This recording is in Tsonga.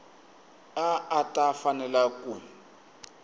a a ta fanela ku